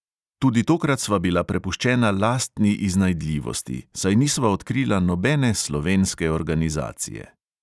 Tudi tokrat sva bila prepuščena lastni iznajdljivosti, saj nisva odkrila nobene slovenske organizacije.